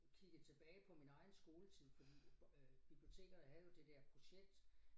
Kigger tilbage på min egen skoletid fordi øh biblioteker er jo det der projekt